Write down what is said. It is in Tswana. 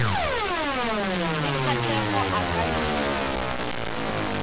le kgatlhego a ka dira